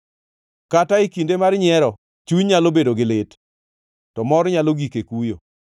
Kata e kinde mar nyiero, chuny nyalo bedo gi lit, to mor nyalo gik e kuyo.